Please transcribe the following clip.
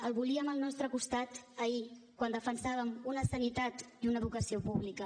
el volíem al nostre costat ahir quan defensàvem una sanitat i una educació públiques